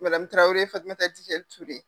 Maqamu Tarawele Fatumata Tija Ture.